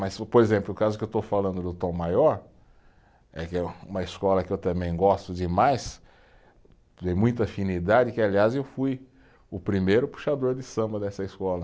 Mas, por exemplo, o caso que eu estou falando do tom maior, é que é uma escola que eu também gosto demais, tenho muita afinidade, que, aliás, eu fui o primeiro puxador de samba dessa escola.